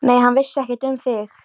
Edith, hvað er á dagatalinu í dag?